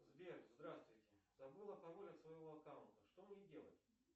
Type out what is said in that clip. сбер здравствуйте забыла пароль от своего аккаунта что мне делать